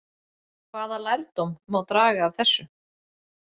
Hvaða lærdóm má draga af þessu?